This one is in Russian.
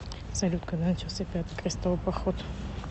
салют когда начался пятый крестовый поход